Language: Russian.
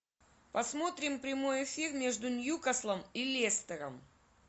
посмотрим прямой эфир между ньюкаслом и лестером